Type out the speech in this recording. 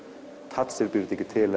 Thatcher býr þetta ekki til